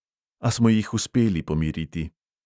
A smo jih uspeli pomiriti.